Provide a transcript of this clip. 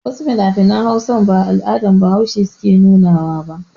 Wasu finafinan Hausa ba al'adar Bahaushe suke nuna wa ba.